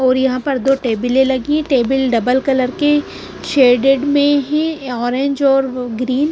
और यहां पर दो टेबल लगी टेबल डबल कलर के शेडेड में है ऑरेंज और ग्रीन ।